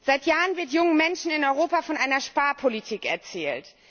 Seit Jahren wird jungen Menschen in Europa von einer Sparpolitik erzählt.